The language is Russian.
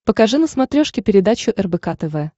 покажи на смотрешке передачу рбк тв